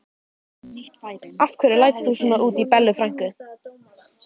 Af hverju lætur þú svona út í Bellu frænku?